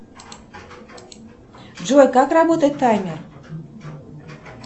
джой как работает таймер